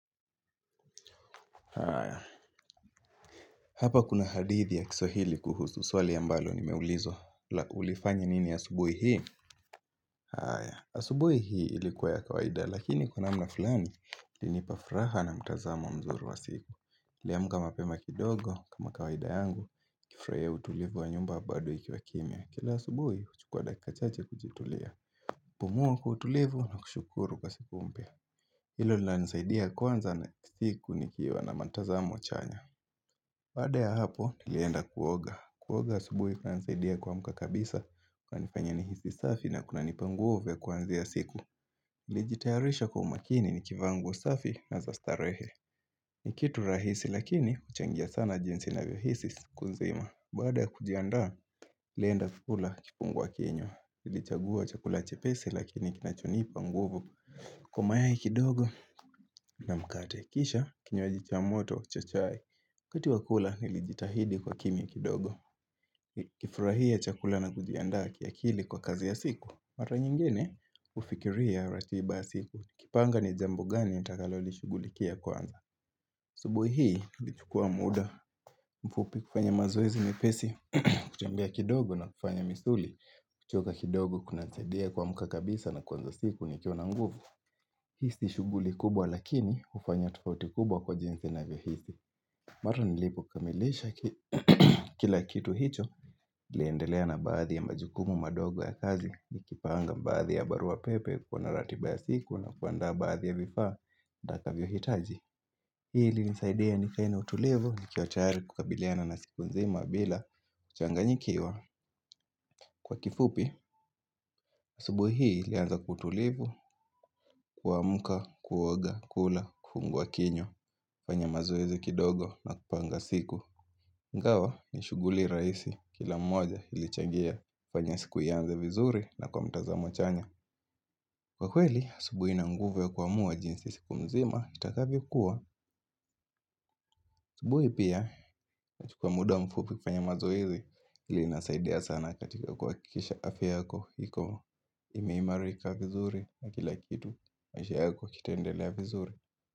Haya, hapa kuna hadithi ya kiswahili kuhusu, swali ambalo nimeulizwa, ulifanya nini asubuhi hii? Haya, asubuhi hii ilikuwa ya kawaida, lakini kwa namna fulani, ilinipa furaha na mtazamo mzuri wa siku. Niliamka mapema kidogo, kama kawaida yangu, nikifurahia utulivu wa nyumba badoikiwa kimya. Kila asubuhi, huchukua dakika chache kujitulia, pumua kwa utulivu na kushukuru kwa siku mpya. Hilo lina nisaidia kwanza na siku ni kiwa na mtazamo chanya. Baada ya hapo, nilienda kuoga. Kuoga asubuhi kunanisaidia kuamka kabisa, kuna nifanya ni hisi safi na kuna nipa nguvu ya kuanzia siku. Nikijitayarisha kwa umakini ni kivaanguo safi na zastarehe. Nikitu rahisi lakini, uchangia sana jinsi ninavyo hisi sikunzima. Baada ya kujiandaa, nilienda kula kifungua kinywa. Nilichagua chakula chepesi lakini kinachonipa nguvu. Kwa mayai kidogo na mkate kisha, kinywaji cha moto cha chai. waKati wakula nilijitahidi kuwaa kimya kidogo NiKifurahia chakula na kujiandaa kiakili kwa kazi ya siku Mara nyingine hufikiria ratiba ya siku niKipanga ni jambo gani nitakalolishughulikia kwanza ASubuhi hii nilichukua muda mfupi kufanya mazoezi mepesi kutembea kidogo na kufanya misuli kuchoka kidogo kuna saidia kuamka kabisa na kuanza siku ni kiwa na nguvu Hii si shughuli kubwa lakini hufanya tofauti kubwa kwa jinsi ninavyo hisi Mara nilipo kamilisha kila kitu hicho niliendelea na baadhi ya majukumu madogo ya kazi Nikipanga baadhi ya barua pepe kuwa na ratiba ya siku na kuandaa baadhi ya vifaa nitakavyo hitaji Hii ilinisaidia nikae na utulivu ni kiwa tayari kukabiliana na siku nzima bila kuchanga nyikiwa Kwa kifupi, asubuhi hii ilianza kwa ukutulivu, kuamka, kuoga, kula, kufungua kinywa, kufanya mazoezi kidogo na kupanga siku Ingawa ni shuguli rahisi kila moja ilichangia kufanya siku ianze vizuri na kwa mtazamo chanya Kwa kweli, asubuhi ina nguvu ya kuamua jinsi siku nzima itakavyokuwa asubuhi pia, na chukua muda mfupi kufanya mazoezi hii inasaidia sana katika kuha kikisha afya yako iko ime imarika vizuri na kila kitu maisha yako kitendelea vizuri.